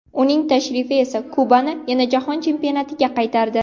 Uning tashrifi esa Kubani yana Jahon Chempionatiga qaytardi.